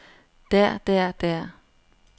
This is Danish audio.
der der der